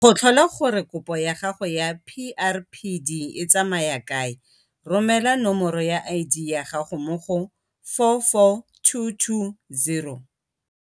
Go tlhola gore kopo ya gago ya PrPD e tsamaya kae, romela nomoro ya ID ya gago mo go 44220.